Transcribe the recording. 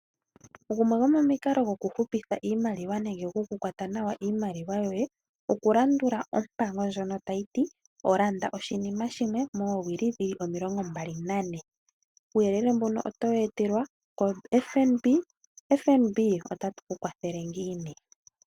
Gumwe gomomikalo gokuhupitha iimaliwa nenge gwokukwata nawa iimaliwa yoye , okulandulwa oompango ndjono tayi ti landa oshinima shimwe moowili omilongo mbali nane. Uuyelele mbuno otowu etelwa koFNB. FNB otatu kunkwathele ngiini?